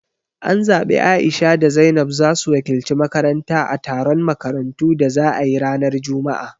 An zabi A'isha da Zainab zasu wakilci makaranta a taron makarantu da za ayi ranar juma'a